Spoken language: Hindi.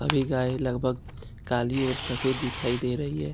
सभी गाय लगभग काली और सफेद दिखाई दे रही है।